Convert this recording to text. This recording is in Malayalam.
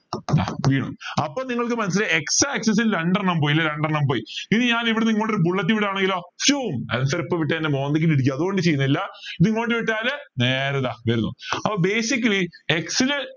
വീഴും അപ്പൊ നിങ്ങൾക്ക് മനസിലായി x axis ൽ രണ്ടെണ്ണം പോയേൽ രണ്ടെണ്ണം പോയ് ഇനി ഞാനിവിടെന്ന് ഇങ്ങോട്ട് ഒരു bullet വിടാണെങ്കിലോ answer ഇപ്പൊ വിട്ട എന്റെ മോന്തയ്ക്ക് ഇട്ട് ഇടിക്കും അതോണ്ട് ചെയ്യുന്നില്ല ഇത് ഇങ്ങോട്ട് വിട്ടാൽ നേരെ ഇതാ അപ്പൊ basically x ൽ